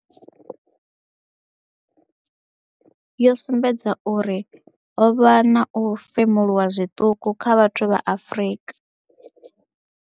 Yo sumbedza uri ho vha na u femuluwa zwiṱuku kha vhathu vha Afrika.